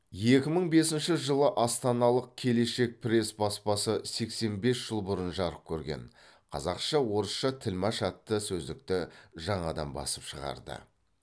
екі мың бесінші жылы астаналық келешек пресс баспасы сексен бес жыл бұрын жарық көрген қазақша орысша тілмаш атты сөздіктің жаңадан басып шығарды